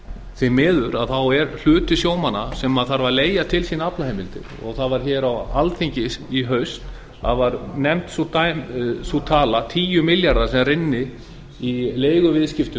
því miður er hluti sjómanna sem þarf að leigja til sín aflaheimildir það var hér á alþingi í haust að það var nefnd sú tala tíu milljarðar sem rynnu í leiguviðskiptum